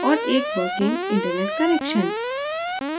और एक working internet connection